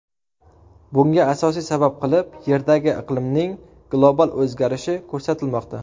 Bunga asosiy sabab qilib Yerdagi iqlimning global o‘zgarishi ko‘rsatilmoqda.